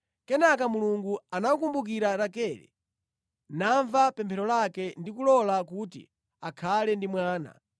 Kenaka, Mulungu anakumbukira Rakele namva pemphero lake ndi kulola kuti akhale ndi mwana.